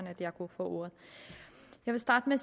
at jeg kunne få ordet jeg vil starte med